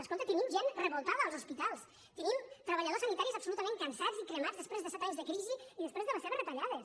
escolti tenim gent revoltada als hospitals tenim treballadors sanitaris absolutament cansats i cremats després de set anys de crisi i després de les seves retallades